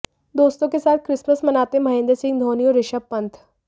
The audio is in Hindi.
दोस्तों के साथ क्रिसमस मनाते महेंद्र सिंह धोनी और ऋषभ पंत